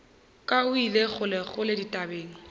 ka o ile kgolekgole dithabeng